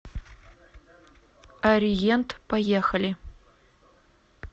ориент поехали